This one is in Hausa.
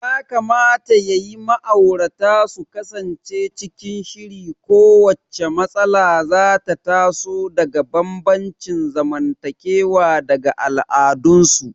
Kamata ya yi ma'aurata su kasance cikin shiri kowacce matsala da za ta taso daga bambancin zamantakewa da al'adunsu.